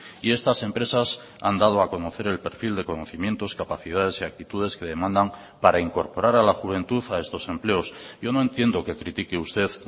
y estas empresas han dado a conocer el perfil de conocimientos capacidades y actitudes que demandan para incorporar a la juventud a estos empleos yo no entiendo que critique usted